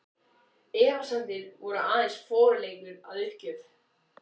Efasemdir voru aðeins forleikur að uppgjöf.